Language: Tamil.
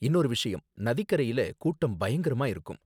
இன்னொரு விஷயம், நதிக்கரையில கூட்டம் பயங்கரமா இருக்கும்